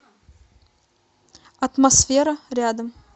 атмосфера рядом